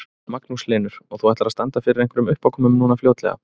Magnús Hlynur: Og þú ætlar að standa fyrir einhverjum uppákomum núna fljótlega?